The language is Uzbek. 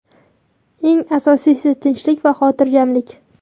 Eng asosiysi – tinchlik va xotirjamlik.